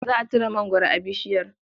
Za a ciro mangwaro a bishiyar.